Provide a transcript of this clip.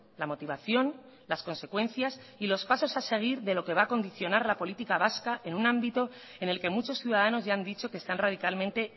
la motivación las consecuencias y los pasos a seguir de lo que va a condicionar la política vasca en un ámbito en el que muchos ciudadanos ya han dicho que están radicalmente